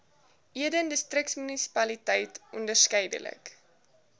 eden distriksmunisipaliteit onderskeidelik